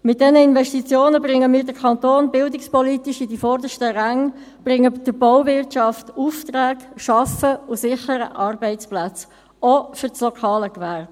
Mit diesen Investitionen bringen wir den Kanton Bern bildungspolitisch in die vordersten Ränge, bringen der Bauwirtschaft Aufträge, schaffen und sichern Arbeitsplätze, auch für das lokale Gewerbe.